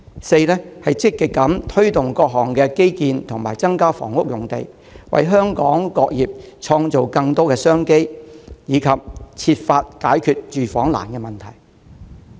四、積極推動各項基建及增加房屋用地，為香港各業創造更多商機，並設法解決住房難的問題。